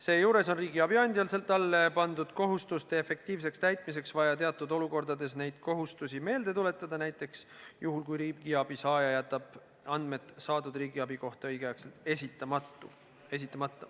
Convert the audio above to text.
Seejuures on riigiabi andjal talle pandud kohustuste efektiivseks täitmiseks vaja teatud olukordades neid kohustusi meelde tuletada, näiteks juhul, kui riigiabi saaja jätab andmed saadud riigiabi kohta õigeaegselt esitamata.